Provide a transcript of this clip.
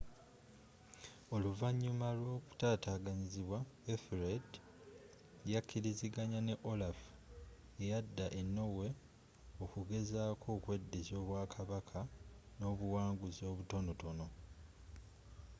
oluvanyuma lw'okkukutataganyizibwa ethelred yakilizanganya ne olaf eyadda e norway okugezzako okweddiza obwa kabaka n'obuwanguzzi obutonotono